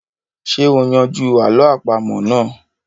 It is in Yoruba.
Ṣé o yanjú àlọ́ àpamọ́ náà?